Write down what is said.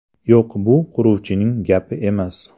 Yo‘q, bu quruvchining gapi emas.